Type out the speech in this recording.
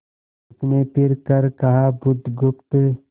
उसने फिर कर कहा बुधगुप्त